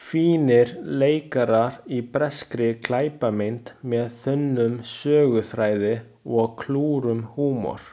Fínir leikarar í breskri glæpamynd með þunnum söguþræði og klúrum húmor.